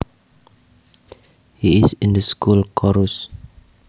He is in the school chorus